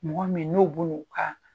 Mɔgɔ min n'o bin'u ka